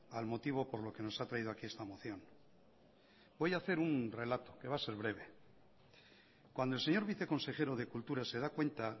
al motivo por lo que nos ha traído aquí esta moción voy a hacer un relato que va a ser breve cuando el señor viceconsejero de cultura se da cuenta